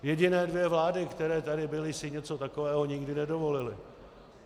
Jediné dvě vlády, které tady byly, si něco takového nikdy nedovolily.